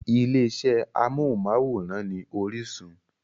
Ilé iṣẹ́ amóhùnmáwòrán ni Orísun.